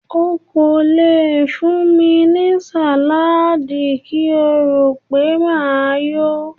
O kò le fún mi ní sàládì kí o rò wípé máa yó.